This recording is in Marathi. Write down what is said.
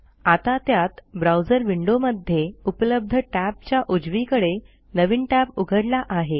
आता त्यात ब्राऊजर विंडोमध्ये उपलब्ध टॅबच्या उजवीकडे नवीन टॅब उघडला आहे